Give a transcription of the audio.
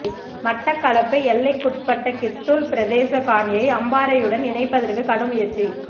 மட்டக்களப்பு எல்லைக்குட்பட்ட கித்துள் பிரதேச காணியை அம்பாறையுடன் இணைப்பதற்கு கடும் முயற்சி